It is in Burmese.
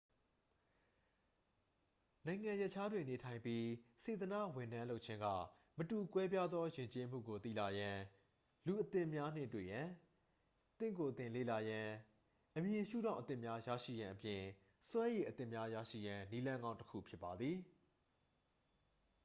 နိုင်ငံရပ်ခြားတွင် နေထိုင်ပြီး စေတန့ာဝန်ထမ်းလုပ်ခြင်းက မတူကွဲပြားသော ယဉ်ကျေးမှုကို သိလာရန် လူအသစ်များနှင့် တွေ့ရန် သင့်ကိုယ်သင်လေ့လာရန် အမြင်ရှုထောင့်အသစ်များ ရရှိရန်အပြင် စွမ်းရည်အသစ်များ ရရှိရန် နည်းလမ်းကောင်းတစ်ခု ဖြစ်ပါသည်